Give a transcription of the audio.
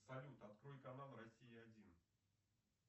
салют открой канал россия один